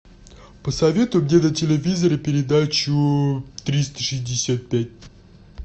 посоветуй мне на телевизоре передачу триста шестьдесят пять